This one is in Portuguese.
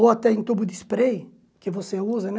Ou até em tubo de spray, que você usa, né?